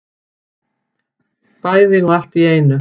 Bæði og allt í einu